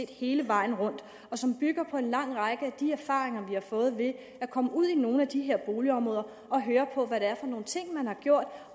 hele vejen rundt og som bygger på en lang række af de erfaringer vi har fået ved at komme ud i nogle af de her boligområder og høre på hvad det er for nogle ting man har gjort